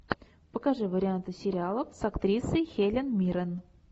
покажи варианты сериалов с актрисой хелен миррен